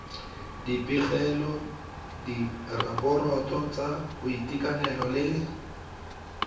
dipegelo diraporoto tsa boitekanelo le